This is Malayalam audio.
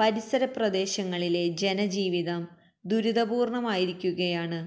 പരിസര പ്രദേശങ്ങളിലെ ജനജീവിതം ദുരിതപൂര്ണ്ണമായിരിക്കുകയാണ്